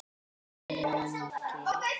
Enginn daginn lengir.